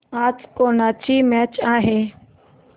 आज कोणाची मॅच आहे